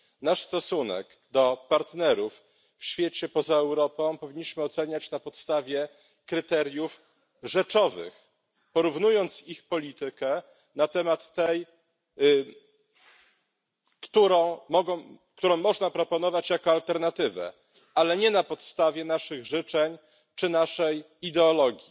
Nasz stosunek do partnerów w świecie poza Europą powinniśmy oceniać na podstawie kryteriów rzeczowych, porównując ich politykę, którą można proponować jako alternatywę, ale nie na podstawie naszych życzeń czy naszej ideologii.